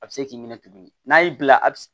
A bɛ se k'i minɛ tuguni n'a y'i bila a bɛ